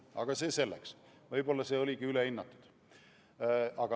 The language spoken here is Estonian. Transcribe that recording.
Aga see selleks, võib-olla see oligi ülehinnatud.